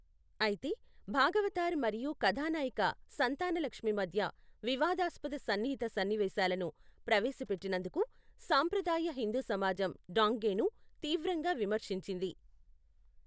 అయితే, భాగవతార్ మరియు కథానాయిక సంతానలక్ష్మి మధ్య వివాదాస్పద సన్నిహిత సన్నివేశాలను ప్రవేశపెట్టినందుకు సాంప్రదాయ హిందూ సమాజం డాంగేన్ను తీవ్రంగా విమర్శించింది.